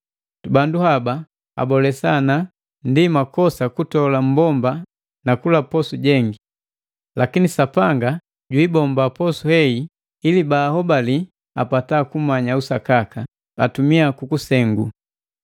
Bandu haba abolesa ana ndi makosa kutola mmbomba na kula posu jengi. Lakini Sapanga jiibomba posu hei, ili bala babii ahobali na apata kumanya usakaka, atumia kukusengu.